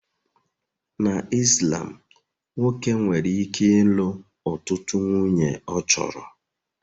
Na Islam nwoke nwere ike ịlụ ọtụtụ nwunye ọ chọrọ